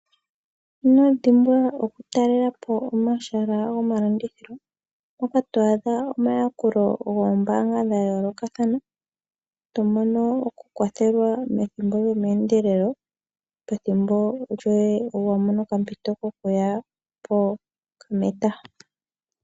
Inodhimbwa okutalelapo omahala gomalandithilo mpoka to adha omayakulo goombaanga dhayoolokathana , to mono oku kwathelwa methimbo lyomeendelelo pethimbo lyoye ngele wamono okampito kokuya pometaha.